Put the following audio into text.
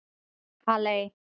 Halley